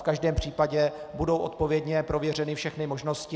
V každém případě budou odpovědně prověřeny všechny možnosti.